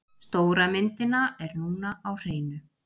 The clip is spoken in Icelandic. Stóra myndina er núna á hreinu.